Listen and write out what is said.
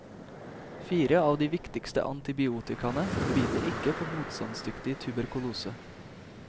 Fire av de viktigste antibiotikaene biter ikke på motstandsdyktig tuberkulose.